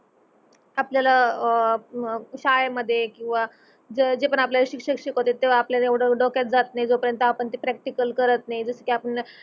आपल्याल अह शाळे मधे किव्हा जे पर्यंत आपण आपल्या शिक्षक शिकावत्यात त्यो आपल्या येवड डोक्याला जात नाही जो पर्यंत आपन प्रक्टिकल करत नाही जस कि आपन